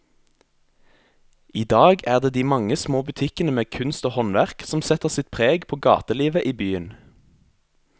I dag er det de mange små butikkene med kunst og håndverk som setter sitt preg på gatelivet i byen.